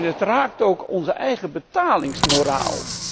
En het raakt ook onze eigen betalingsmoraal.